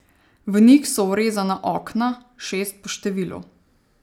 V njih so vrezana okna, šest po številu.